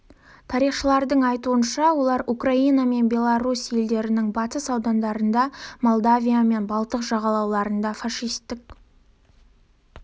тарихшылардың айтуынша олар украина мен беларусь елдерінің батыс аудандарында молдавия мен балтық жағалауларында фашистік